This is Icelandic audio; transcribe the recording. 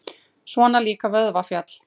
Svona líka vöðvafjalli!